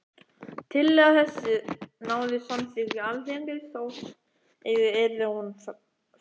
Tillaga þessi náði samþykki Alþingis, þótt eigi yrði hún framkvæmd.